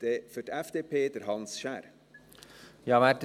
Dann für die FDP, Hans Schär.